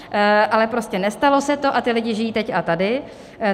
Ale prostě nestalo se to a ti lidé žijí teď a tady.